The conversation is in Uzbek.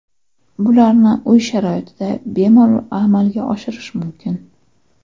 Bularni uy sharoitida bemalol amalga oshirish mumkin.